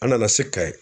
An nana se ka ye